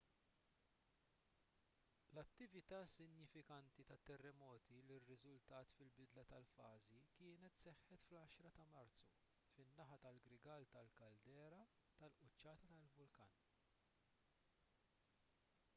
l-attività sinifikanti tat-terremoti li rriżultat fil-bidla tal-fażi kienet seħħet fl-10 ta' marzu fin-naħa tal-grigal tal-kaldera tal-quċċata tal-vulkan